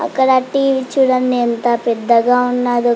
అక్కడ ఆ టీ.వీ. చుడండి ఎంత పెద్దగా ఉన్నదో.